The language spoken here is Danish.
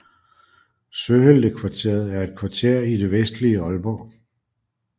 Søheltekvarteret er et kvarter i det vestlige Aalborg